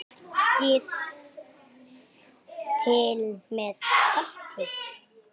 Smakkið til með salti.